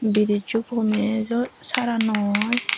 brizo gomey ejo sara nw oi.